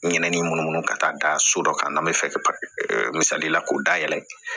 Ɲinɛnin munumunu ka taa da so dɔ kan n'a bɛ fɛ misali la k'u dayɛlɛ